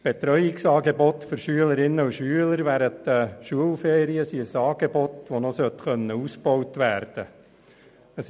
Betreuungsangebote für Schülerinnen und Schüler während den Schulferien sollten noch ausgebaut werden können.